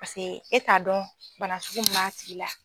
Paseke e t'a dɔn banasugu min m'a sigi la.